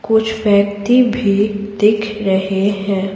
कुछ व्यक्ति भी दिख रहे हैं.